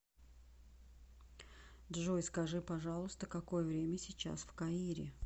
джой скажи пожалуйста какое время сейчас в каире